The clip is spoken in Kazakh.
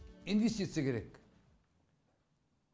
инвестиция керек экономика жатыр